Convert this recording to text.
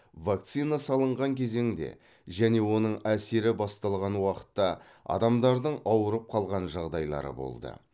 вакцина салынған кезеңде және оның әсері басталған уақытта адамдардың ауырып қалған жағдайлары болды